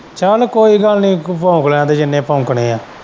ਚੱਲ ਕੋਈ ਗੱਲ ਨੀ ਤੂੰ ਭੌਕ ਲੈਣ ਦੇ ਜਿੰਨੇ ਭੌਕਣੇ ਏ।